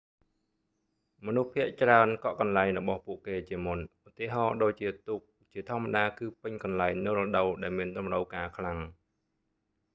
មនុស្សភាគច្រើនកក់កន្លែងរបស់ពួកគេជាមុន ឧទាហរណ៍ដូចជាទូកជាធម្មតាគឺពេញកន្លែងនៅរដូវដែលមានតម្រូវការខ្លាំង